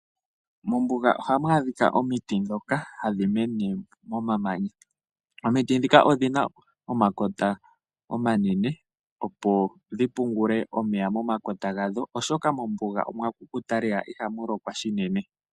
Mombuga ohamu adhika omiti ndhoka hadhi mene momamanya. Omiti ndhika odhina omakota omanene opo dhi pungule omeya momakota gadho oshoka mombuga omwakukuta lela ihamu lokwa shinene.